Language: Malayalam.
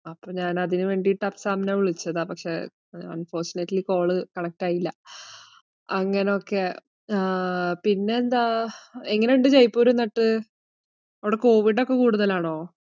അപ്പൊ ഞാൻ അതിനുവേണ്ടീട്ട് അഫ്സാമിനെ വിളിച്ചതാ, പക്ഷെ unfortunately call connect ആയില്ല, അങ്ങനൊക്കെ ആഹ് പിന്നെന്താ, എങ്ങയൊണ്ട് ജയ്‌പൂർ എന്നിട്ട്, അവിടെ കോവിഡൊക്കെ കൂടുതലാണോ?